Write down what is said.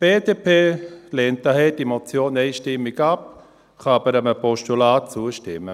Die BDP lehnt daher diese Motion einstimmig ab, kann aber einem Postulat zustimmen.